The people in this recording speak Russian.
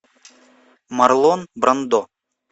марлон брандо